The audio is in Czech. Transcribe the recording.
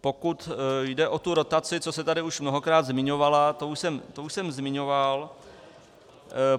Pokud jde o tu rotaci, co se tady už mnohokrát zmiňovala, to už jsem zmiňoval.